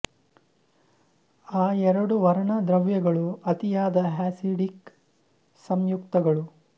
ಆ ಎರಡು ವರ್ಣ ದ್ರವ್ಯಗಳು ಅತಿಯಾದ ಅಸಿಡ್ ಇಕ್ ಸಂಯುಕ್ತಗಳು